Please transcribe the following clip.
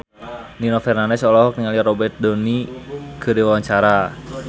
Nino Fernandez olohok ningali Robert Downey keur diwawancara